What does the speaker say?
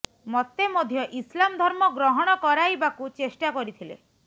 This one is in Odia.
ମତେ ମଧ୍ୟ ଇସ୍ଲାମ୍ ଧର୍ମ ଗ୍ରହଣ କରାଇବାକୁ ଚେଷ୍ଟା କରିଥିଲେ